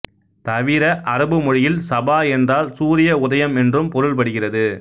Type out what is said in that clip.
தவிர அரபு மொழியில் சபா என்றால் சூரிய உதயம் என்றும் பொருள்படுகிறது